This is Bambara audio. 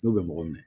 N'u bɛ mɔgɔ minɛ